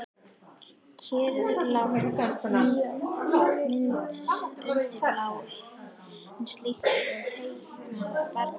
Kyrrlát mynd undir bláma himins, líkt og teiknuð af barni.